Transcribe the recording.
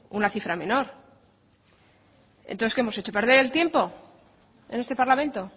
una cifra menor entonces qué hemos hecho perder el tiempo en este parlamento